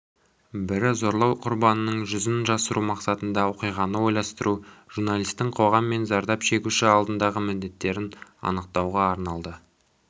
бірі зорлау құрбанының жүзін жасыру мақсатында оқиғаны ойластыру журналистің қоғам мен зардап шегуші алдындағы міндеттерін анықтауға арналды